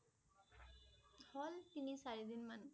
হল তিনি চাৰি দিন মান